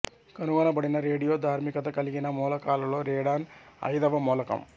కనుగొనబడిన రేడియో ధార్మికత కలిగిన మూలకాలలో రేడాన్ అయిదవ మూలకం